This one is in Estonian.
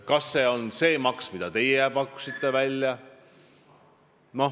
Kas see võiks olla see maks, mille teie välja pakkusite?